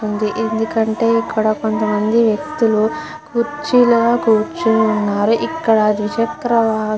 ఉంది ఎందుకంటె ఇక్కడ కొంతమంది వెక్తులు కుర్చీలో కూర్చొని ఉన్నారు ఇక్కడ ద్విచక్ర --